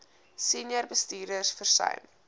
senior bestuurders versuim